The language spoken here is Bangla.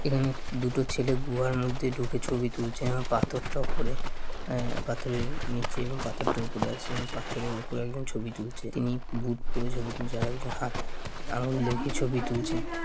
এখানে দুটো ছেলে গুহার মধ্যে ঢুকে ছুবি তুলছে এবং পাথরটা উপরে আহ পাথরের নিচে এবং পাথরটা উপরে আছে এবং পাথরের উপরে একজন ছবি তুলছে তিনি বুট পরে ছবি তুলছে আর একজন হাত আঙ্গুল দেখিয়ে ছবি তুলছে ।